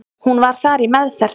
Hún var þar í meðferð.